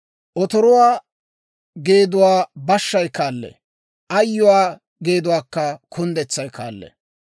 Otoruwaa geeduwaa bashshay kaallee; ayyuwaa geeduwaakka kunddetsay kaallee.